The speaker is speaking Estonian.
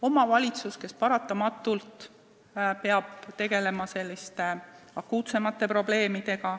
Omavalitsus peab paratamatult tegelema akuutsemate probleemidega.